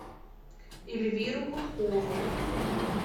эльвиру гудкову